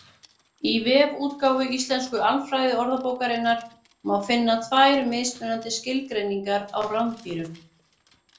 Í vefútgáfu Íslensku alfræðiorðabókarinnar má finna tvær mismunandi skilgreiningar á rándýrum.